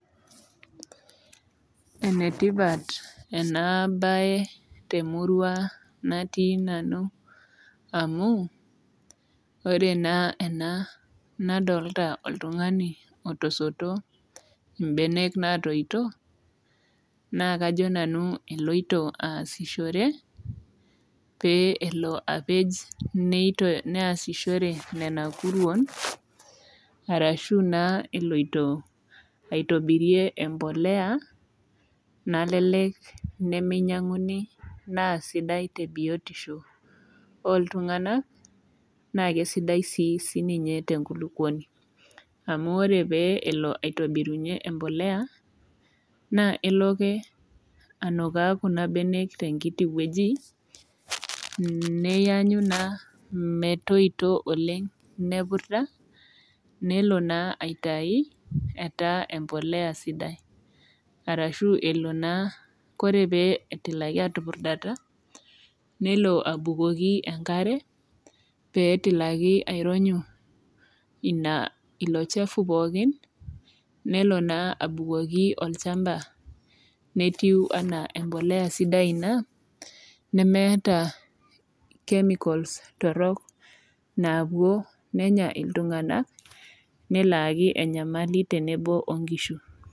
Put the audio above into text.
Enetipat enaabaye temurua natii nanu amu ore naa ena nadolita oltung'ani otosoto imbenek natooito naa kajo nanu eloito aasishore pee elo apej neito neasishore nena kuruon arashu naa eloito aitobirie empolea nalelek nemeinyang'uni naa sidai te biotisho ooltung'anak naake sidai sii sininye tenkulukuoni. Amu ore pee elo aitobirunye empolea naa eloake anukaa kuna benek tenkiti wueji nneyanyu naa metoito metoito oleng' nepurda, nelo naa aitai etaa empolea sidai. Arashu elo naa kore pee etilaki atupurdata nelo abukoki enkare peetilaki aironyu ina ilo chafu pookin nelo naa abukoki olchamba netiu anaa empolea sidai ina nemeeta chemicals torrok naapuo nenya iltung'anak neloaaki enyamali tenebo o nkishu.